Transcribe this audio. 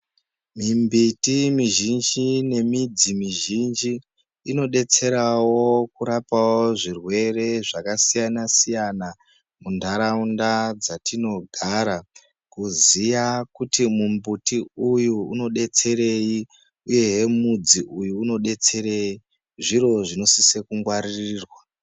Mimbiti mizhinji nemidzi mizhinji inodetserawo kurapawo zvirwere zvakasiyana-siyana, muntaraunda dzatinogara. Kuziya kuti mumbiti uyu unodetserei, uyehe midzi uyu unodetserei, zviro zvinosise kungwaririrwa.